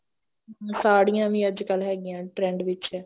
ਹਮ ਸਾੜੀਆਂ ਵੀ ਅੱਜਕਲ ਹੈਗੀਆਂ trend ਵਿੱਚ